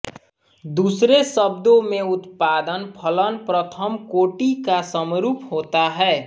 दूसरे शब्दों में उत्पादन फलन प्रथम कोटि का समरूप होता है